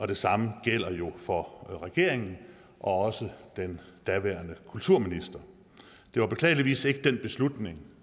det samme gælder jo for regeringen og også den daværende kulturminister det var beklageligvis ikke den beslutning